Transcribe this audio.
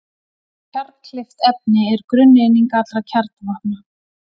Kjarnkleyft efni er grunneining allra kjarnavopna.